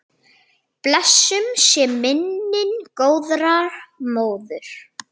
Blessuð sé minning góðrar móður.